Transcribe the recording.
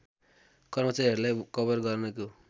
कर्मचारीहरूलाई कवर गर्नको